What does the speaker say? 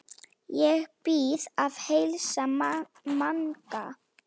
Ég bið að heilsa Manga!